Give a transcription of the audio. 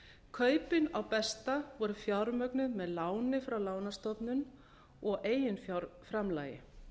kaupin á besta voru fjármögnuð með láni frá lánastofnun og eiginfjárframlagi